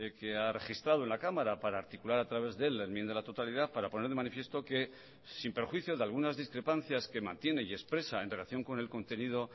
que ha registrado en la cámara para articular a través de el la enmienda a la totalidad para poner de manifiesto que sin perjuicio de algunas discrepancias que mantiene y expresa en relación con el contenido